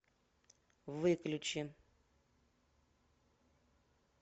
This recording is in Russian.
выключи